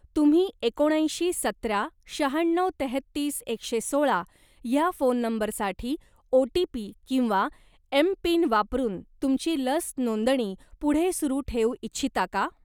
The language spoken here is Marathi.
तुम्ही एकोणऐंशी सतरा शहाण्णव तेहतीस एकशे सोळा ह्या फोन नंबरसाठी ओ.टी.पी किंवा एम.पिन वापरून तुमची लस नोंदणी पुढे सुरू ठेवू इच्छिता का?